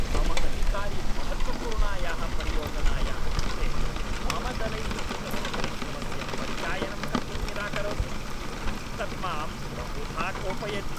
मम अधिकारी महत्त्वपूर्णायाः परियोजनायाः कृते मम दलैः कृतस्य परिश्रमस्य परिचायनं कर्तुं निराकरोति, तत् मां बहुधा कोपयति।